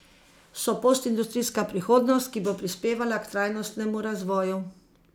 So postindustrijska prihodnost, ki bo prispevala k trajnostnemu razvoju.